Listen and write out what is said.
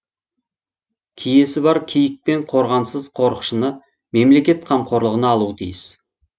киесі бар киік пен қорғансыз қорықшыны мемлекет қамқорлығына алуы тиіс